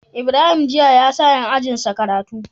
Ibrahim jiya yasa yan ajinsa karatu